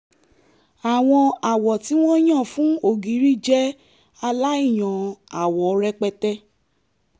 àwọn àwọ̀ tí wọ́n yàn fún ògiri jẹ́ aláìyan àwọ rẹpẹtẹ